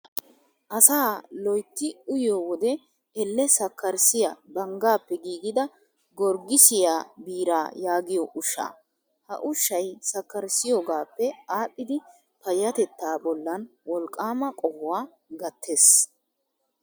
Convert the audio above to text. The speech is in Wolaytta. Asaa loyitti uyiyoo wode elle sakkarissiyaa banggaappe giigida goggisiyaa biiraa yaagiyoo ushshaa. Ha ushshayi sakkarissiyoogaappee aadhdhidi payyatettaa bollan wolqqaama qohuwaa gattes.